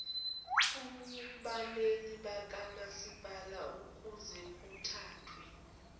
kubameli bakamasipala ukuzekuthathwe